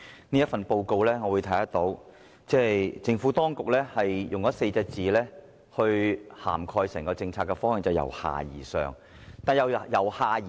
從這份報告可見，政府當局是以4個字來涵蓋整項政策的方向，也就是"由下而上"。